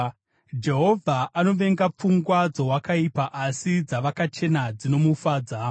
Jehovha anovenga pfungwa dzowakaipa, asi dzavakachena dzinomufadza.